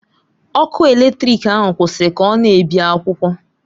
Ọkụ eletrik ahụ kwụsịrị ka ọ na-ebi akwụkwọ.